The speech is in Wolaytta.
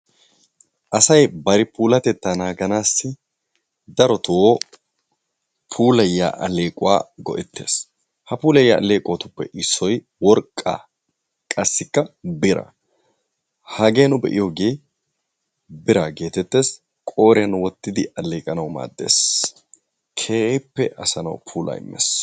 Asay bari puulatettaa naaganaassi darotoo puulayiya alleequwa go'ttees. Ha puulayiya alleeqotuppe issoy worqqaa qassikka biraa. Hagee nu be'iyogee biraa geetettees. Qooriyan wottidi alleeqanawu maaddees. Keehippe asa na'awu puulaa immees.